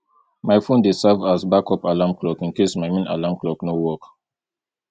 my phone dey serve as backup alarm clock in case my main alarm clock no work